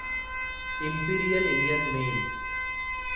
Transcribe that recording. imperial Indian mail